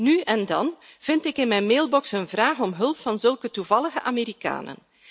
Nu en dan vind ik in mijn mailbox een vraag om hulp van zulke toevallige Amerikanen.